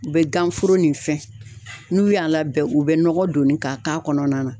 U bɛ ganforo nin fɛn n'u y'a labɛn u bɛ nɔgɔ donni ka k'a kɔnɔna na.